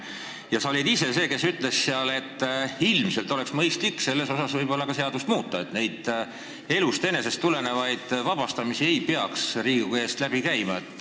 Sa ise olid see, kes seal ütles, et ilmselt oleks mõistlik selles osas seadust muuta, et need elust enesest tulevad vabastamised ei peaks Riigikogu eest läbi käima.